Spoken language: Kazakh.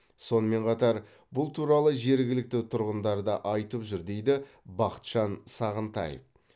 сонымен қатар бұл туралы жергілікті тұрғындар да айтып жүр дейді бақытжан сағынтаев